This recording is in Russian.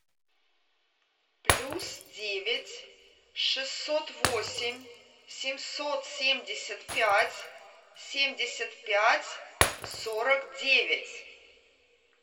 плюс девять шестьсот восемь семьсот семьдесят пять семьдесят пять сорок девять